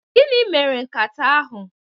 Gịnị mere nkata ahụ?